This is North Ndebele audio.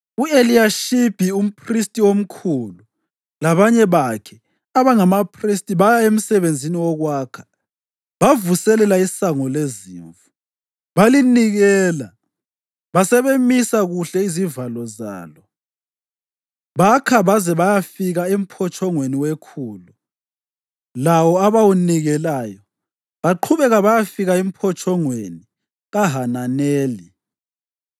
U-Eliyashibi umphristi omkhulu labanye bakhe abangabaphristi baya emsebenzini wokwakha bavuselela iSango leZimvu. Balinikela basebemisa kuhle izivalo zalo, bakha baze bayafika eMphotshongweni weKhulu, lawo abawunikelayo, baqhubeka bayafika eMphotshongweni kaHananeli.